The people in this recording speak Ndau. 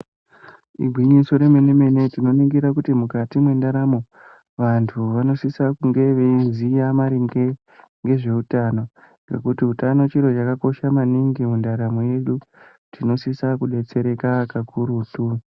Igwinyiso remenemene tinoningira kuti mukati mwendaramo vantu vanosisa kunge veiziya maringe ngezveutano nekuti utano chiro chakakosha maningi mundaromo yedu tinosisa kubetsereka kakurutu .